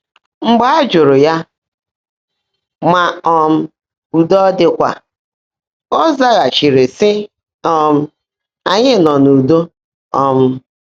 Mgbe á jụ́rụ́ yá mà um údo ọ́ ḍị́kwá, ọ́ zágháchiírí, sị́: um “Ányị́ nọ́ n’ụ́do.” um